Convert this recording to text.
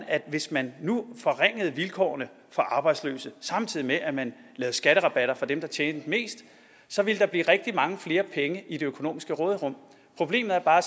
at hvis man nu forringede vilkårene for arbejdsløse samtidig med at man lavede skatterabatter for dem der tjente mest så ville der blive rigtig mange flere penge i det økonomiske råderum problemet er bare